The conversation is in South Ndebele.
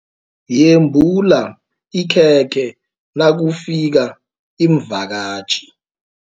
Yembula ikhekhe nakufika iimvakatjhi.